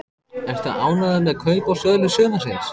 Ertu ánægður með kaup og sölur sumarsins?